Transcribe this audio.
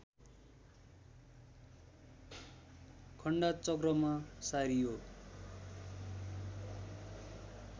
खान्डाचक्रमा सारियो